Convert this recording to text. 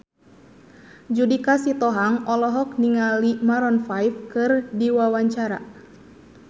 Judika Sitohang olohok ningali Maroon 5 keur diwawancara